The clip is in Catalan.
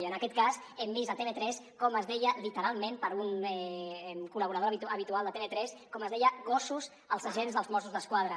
i en aquest cas hem vist a tv3 com es deia literalment per un col·laborador habitual de tv3 com es deia gossos als agents dels mossos d’esquadra